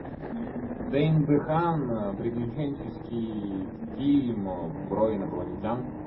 дэйн дехаан приключенческий фильм про инопланетян